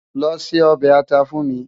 Lò sé òbè átà fún mi